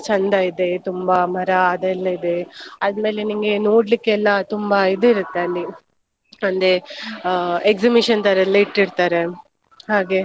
ಚಂದ ಇದೆ ತುಂಬಾ ಮರ ಅದೆಲ್ಲ ಇದೆ. ಆದ್ಮೇಲೆ ನಿಂಗೆ ನೋಡ್ಲಿಕ್ಕೆ ಎಲ್ಲಾ ತುಂಬಾ ಇದಿರುತ್ತೆ ಅಲ್ಲಿ ಅಂದ್ರೆ exhibition ತರಯೆಲ್ಲ ಇಟ್ಟಿರ್ತಾರೆ ಹಾಗೆ.